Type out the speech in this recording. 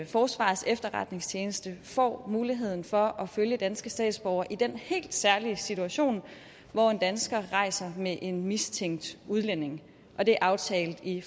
forsvarets efterretningstjeneste får muligheden for at følge danske statsborgere i den helt særlige situation hvor en dansker rejser med en mistænkt udlænding det er aftalt i